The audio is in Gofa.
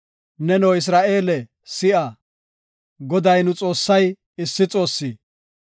Neno, Isra7eele si7a; Goday nu Xoossay issi Xoossi.